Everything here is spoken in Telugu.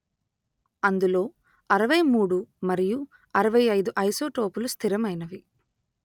అందులో అరవై మూడు మరియు అరవై అయిదు ఐసోటోపులు స్థిరమైనవి